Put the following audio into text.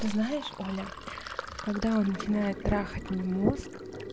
ты знаешь оля когда он начинает трахать мне мозг